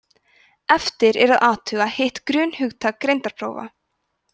eftir er að athuga hitt grunnhugtak greindarprófa